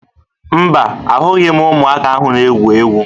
Mba, ahụghị m ụmụaka ahụ na-egwu egwu